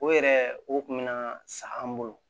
O yɛrɛ o kun bɛ na sa an bolo